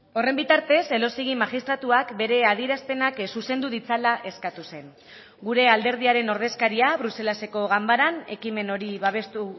horren bitartez elósegui magistratuak bere adierazpenak zuzendu ditzala eskatu zen gure alderdiaren ordezkaria bruselaseko ganbaran ekimen hori babestu